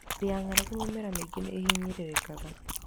Hĩndĩ ya ng'aragu mĩmera mĩingĩ nĩ ĩhinyĩrĩrĩkaga.